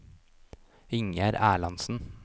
Ingjerd Erlandsen